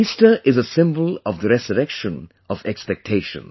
Easter is a symbol of the resurrection of expectations